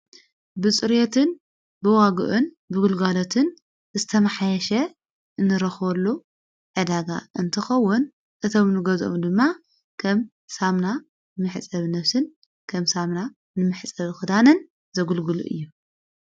ብጽርየትን ብዋግእን ብጕልጓለትን ተማሓሸ እንረኸወሉ እዳጋ እንትኸውን እቶም ኑገዘሙ ድማ ከም ሳምና ምሕጸብ ነፍስን ከም ሳምና ንምሕጸብ ኽዳንን ዘጕልግሉ እዩ::